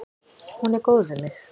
Hún er góð við mig.